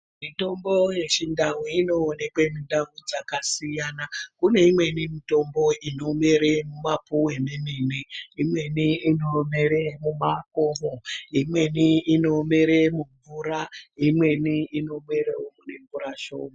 Mitombo yeChiNdau inoonekwe mundau dzakasiyana. Kune imweni mitombo inomere mumapuwe memene. Imweni inomere mumakomo, imweni inomere mumvura, imweni inomerewo mune mvura shoma.